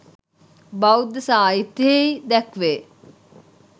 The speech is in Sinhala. බෞද්ධ සාහිත්‍යයෙහි දැක්වේ.